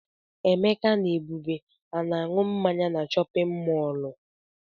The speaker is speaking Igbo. Emeka na Ebube a na-aṅụ mmanya na chọpịn mọọlụ?